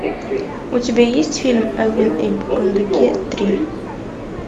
у тебя есть фильм элвин и бурундуки три